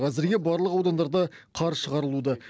әзірге барлық аудандарда қар шығарылуда